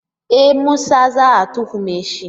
E! Musa za a tuhume shi.